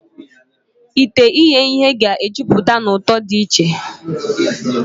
Ite ihee ihe ga-ejupụta na ụtọ dị ụtọ.